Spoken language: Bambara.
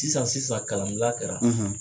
Sisan sisan kalanbila kɛra,